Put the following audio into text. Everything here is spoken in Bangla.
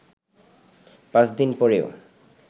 পাঁচদিন পরেও